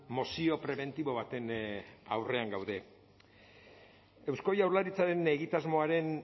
mozio prebentibo baten aurrean gaude eusko jaurlaritzaren egitasmoaren